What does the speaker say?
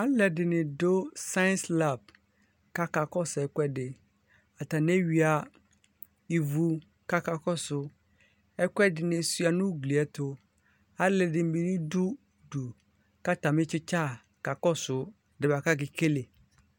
Alu li ɛdini dʋ science lap kakakɔsu ɛkuɛdiAtani ewuia ivu kakakɔsʋ Ɛkʋ ɛdini suia nʋ ugliɛɛtuAlʋ ɛdini bi dʋ udu katami tsitsi kakɔsʋ ɛdiɛ bua kakekele